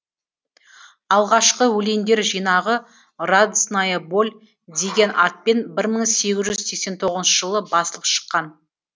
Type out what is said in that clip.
алғашқы өлеңдер жинағы радостная боль деген атпен бір мың сегіз жүз сексен тоғызыншы жылы басылып шыққан